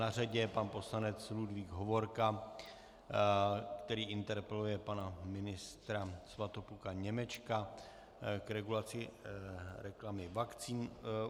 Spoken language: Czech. Na řadě je pan poslanec Ludvík Hovorka, který interpeluje pana ministra Svatopluka Němečka k regulaci reklamy vakcín.